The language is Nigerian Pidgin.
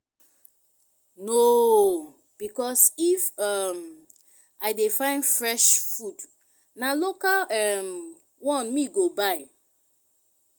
no o because if um i dey find fresh food na local um one me go buy